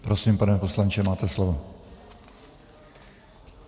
Prosím, pane poslanče, máte slovo.